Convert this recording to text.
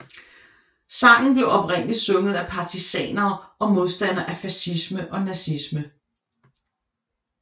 Sangen blev oprindeligt sunget af partisaner og modstandere af facisme og nazisme